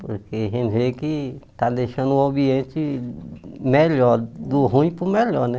Porque a gente vê que está deixando o ambiente melhor, do ruim para o melhor né.